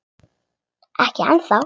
Ekki ennþá